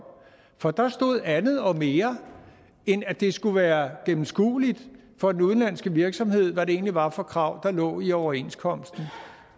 for der stod andet og mere end at det skulle være gennemskueligt for den udenlandske virksomhed hvad det egentlig var for krav der lå i overenskomsten